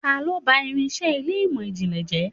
Ta lo bá irinse ilé imọ-jinlẹ jẹ?